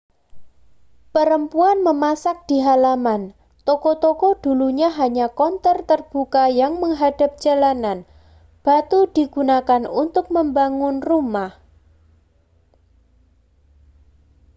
perempuan memasak di halaman toko-toko dulunya hanya konter terbuka yang menghadap jalanan batu digunakan untuk membangun rumah